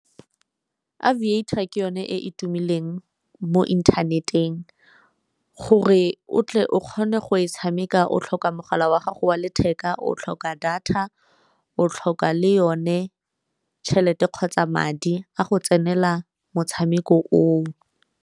Aviator ke yone e e tumileng mo inthaneteng, gore o tle o kgone go e tshameka o tlhoka mogala wa gago wa letheka, o tlhoka data, o tlhoka le yone tšhelete kgotsa madi a go tsenela motshameko o o.